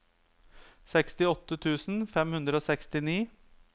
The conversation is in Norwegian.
sekstiåtte tusen fem hundre og sekstini